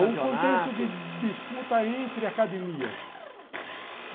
Não, um contexto de de disputa entre academias.